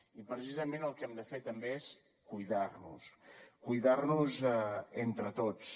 i precisament el que hem de fer també és cuidar nos cuidar nos entre tots